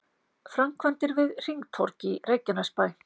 Framkvæmdir við hringtorg í Reykjanesbæ